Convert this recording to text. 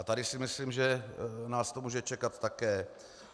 A tady si myslím, že nás to může čekat také.